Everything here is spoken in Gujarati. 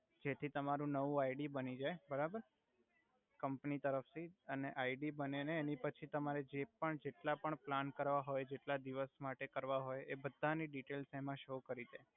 જેથી તમારુ નવુ આઈડી બની જઈ બરાબર કમ્પની તરફથી અને આઈડી બને ને એની પછી તમારે જે પણ જેટલા પણ પ્લાન કરવા હોઇ જેટલા દિવસ માટે કરવા હોય એ બધા ની ડિટઈલ્સ એમા સો કરી દે